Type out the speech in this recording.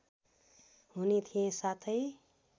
हुने थिएँ साथै